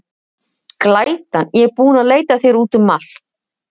Glætan, ég er búin að leita að þér út um allt.